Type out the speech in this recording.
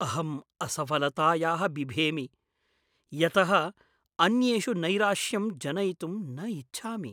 अहम् असफलतायाः बिभेमि, यतः अन्येषु नैराश्यं जनयितुं न इच्छामि।